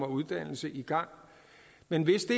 uddannelse i gang men hvis det